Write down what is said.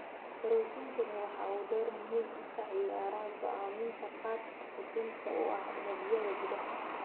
Borootiinkani waxa uu door muhiim ah ka ciyaaraa go'aaminta qaabka xudunta u ah unugyada gudaha.